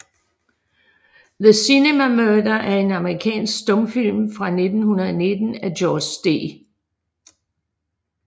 The Cinema Murder er en amerikansk stumfilm fra 1919 af George D